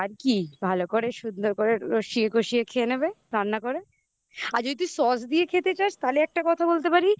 ভালো করে সুন্দর করে রসিয়ে কষিয়ে খেয়ে নেবে রান্না করে আর যদি তুই sauce দিয়ে খেতে চাস তাহলে একটা কথা বলতে পারি